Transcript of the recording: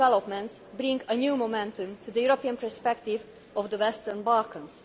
envisaged. These developments bring a new momentum to the European perspective of the Western